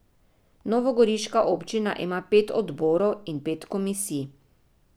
Novogoriška občina ima pet odborov in pet komisij.